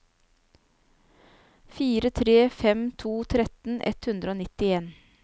fire tre fem to tretten ett hundre og nittien